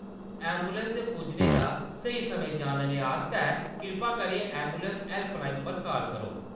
Ambulance दे पुज्जने दा स्हेई समां जानने आस्तै कृपा करियै ऐंबुलैंस हैल्पलाइन पर काल करो।